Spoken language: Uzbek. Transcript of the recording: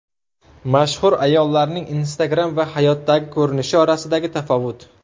Mashhur ayollarning Instagram va hayotdagi ko‘rinishi orasidagi tafovut .